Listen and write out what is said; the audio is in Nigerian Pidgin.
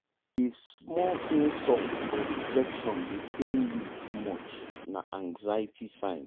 if small insult or rejection dey pain you too much na anxiety sign.